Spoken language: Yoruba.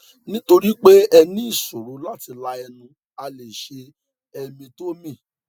nítorí pé ẹ ní ìṣòro láti la ẹnu a lè ṣe eminectomy